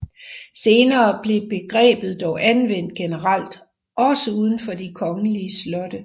Senere blev begrebet dog anvendt generelt også uden for de kongelige slotte